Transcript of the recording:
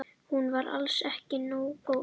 Hún var alls ekki nógu góð.